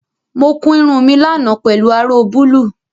Mo kun irun mi lánàá pelu aró búlúù